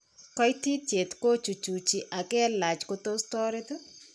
Kaititiet ko chuchuchi ak kelach ko tos ko toret.